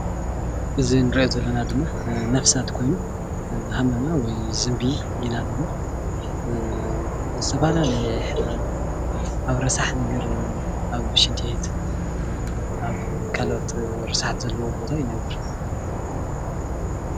እዚ እንሪኦ ዘለና ድማ ነብሳት ኮይኑ ሃመማ ወይ ድማ ዝንቢ እና እንብሎ ዝተፈላለየ ሕማም ኣብ ረሳሕ ነገር ኣብ ሽንቲ ቤት ኣብ ካልኦት ርስሓት ዘለዎም ቦታ ይነብር፡፡